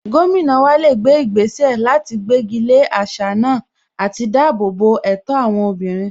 Gómìnà wa lè gbé ìgbésẹ̀ láti gbégi lé àṣà náà àti dáàbò bo ẹ̀tọ́ àwọn obìnrin